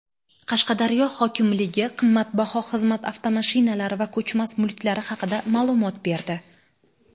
Qashqadaryo hokimligi qimmatbaho xizmat avtomashinalari va ko‘chmas mulklari haqida ma’lumot berdi.